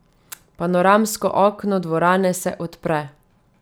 Panoramsko okno dvorane se odpre.